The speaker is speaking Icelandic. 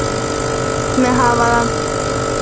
Ég læt mig hafa það.